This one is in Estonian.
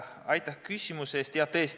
Aitäh küsimuse eest!